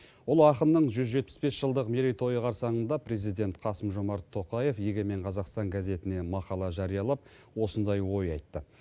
ұлы ақынның жүз жетпіс бес жылдық мерейтойы қарсаңында президент қасым жомарт тоқаев егемен қазақстан газетіне мақала жариялап осындай ой айтты